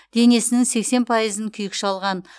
денесінің сексен пайызын күйік шалған